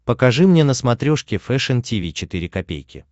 покажи мне на смотрешке фэшн ти ви четыре ка